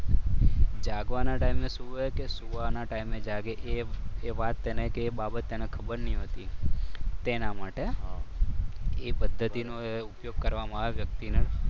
જાગવાના ટાઈમે સુવે કે સુવાના ટાઈમે જાગે એ વાત કે બાબત તેને ખબર નહીં હોતી. તેના માટે એ પદ્ધતિનો ઉપયોગ કરવામાં આવે વ્યક્તિને.